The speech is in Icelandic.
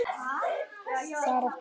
Þar áttu